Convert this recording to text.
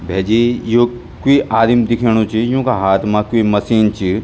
भैजी यू क्वि आदिम दिखेंणु च यूंका हाथ मा क्वि मशीन च।